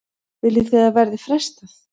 Viljið þið að verði frestað?